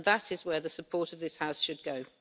That is where the support of this House should go.